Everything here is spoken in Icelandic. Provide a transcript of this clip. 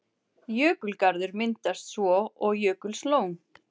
Jökulgarður myndast svo og jökullón.